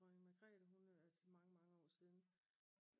Dronning Magrethe hun er altså mange mange år siden